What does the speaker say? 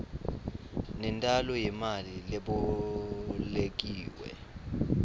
nentalo yemali lebolekiwe